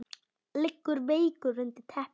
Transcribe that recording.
Liggur veikur undir teppi.